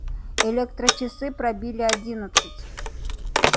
электрочасы пробили одиннадцать